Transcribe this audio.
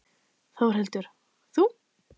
Þórhildur: Þú?